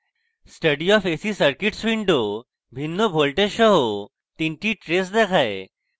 study of ac circuits window ভিন্ন voltages সহ তিনটি traces দেখায়